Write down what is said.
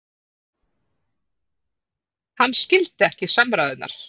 Hann skildi ekki samræðurnar.